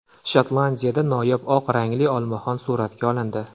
Shotlandiyada noyob oq rangli olmaxon suratga olindi.